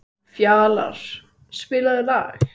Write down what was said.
Fjalarr, spilaðu lag.